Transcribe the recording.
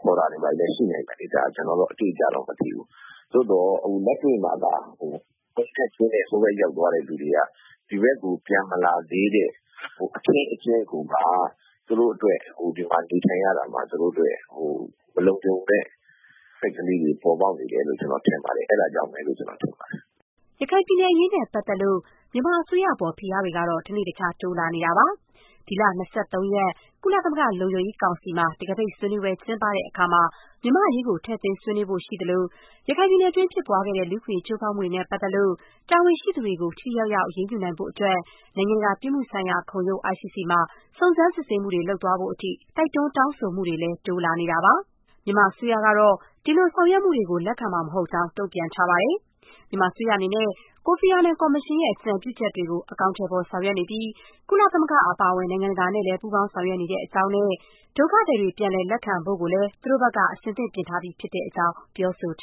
ခေါ်တာတွေ ဘာတွေလည်း ရှိနိုင်မယ်လေ။ ဒါ…ကျနော်ကတော့ အတိအကျတော့ မသိဘူး။ သို့သော် အခုလက်တွေ့မှာက အုံနဲ့ကျင်းနဲ့ ဟိုဘက် ရောက်သွားတဲ့သူတွေက ဒီဘက်ကို ပြန်မလာသေးတဲ့ အခင်းအကျင်းကိုက သူတို့အတွက် ဒီမှာနေထိုင်ရတာမှာ မလုံခြုံတဲ့အချက်လေးတွေ ပေါ်ပေါက်နေတယ်လို့ ကျနော် ထင်ပါတယ်။ အဲဒါကြောင့်ပဲလို့ ကျနော် ထင်ပါတယ်။” ရခိုင်ပြည်နယ်အရေးနဲ့ပတ်သက်လို့ မြန်မာအစိုးရအပေါ် ဖိအားတွေကတော့ တနေ့တခြား တိုးလာနေတာပါ။ ဒီလ ၂၃ ရက် ကုလသမဂ္ဂ လုံခြုံရေးကောင်စီမှာ တံခါးပိတ်ဆွေးနွေးပွဲ ကျင်းပတဲ့အခါ မြန်မာ့အရေး ထည့်သွင်းဆွေးနွေးဖို့ ရှိသလို၊ ရခိုင်ပြည်နယ်တွင်း ဖြစ်ပွားခဲ့တဲ့ လူ့အခွင့်အရေး ချိုးဖောက်မှုတွေနဲ့ ပတ်သက်လို့ တာဝန်ရှိသူတွေကို ထိထိရောက်ရောက် အရေးယူနိုင်ဖို့အတွက် နိုင်ငံတကာ ပြစ်မှုဆိုင်ရာ ခုံရုံး ICC မှာ စုံစမ်းစစ်ဆေးမှုတွေ လုပ်ဖို့အထိ တိုက်တွန်း တောင်းဆိုမှုတွေလည်း တိုးလာနေတာပါ။ မြန်မာအစိုးရကတော့ ဒီလို ဆောင်ရွက်မှုတွေကို လက်ခံမှာမဟုတ်ကြောင်း တုံ့ပြန်ထားပါတယ်။ မြန်မာအစိုးရအနေနဲ့ ကိုဖီအာနန်ကော်မရှင်ရဲ့ အကြံပြုချက်တွေကို အကောင်အထည်ဖော် ဆောင်ရွက်နေပြီး ကုလသမဂ္ဂ အပါအဝင် နိုင်ငံတကာနဲ့လည်း ပူးပေါင်း ဆောင်ရွက်နေတဲ့အကြောင်းနဲ့ ဒုက္ခသည်တွေ ပြန်လည် လက်ခံဖို့ကိုလည်း သူတို့ဘက်က အဆင်သင့် ပြင်ဆင်ထားပြီးဖြစ်တဲ့အကြောင်း ပြောဆိုထာ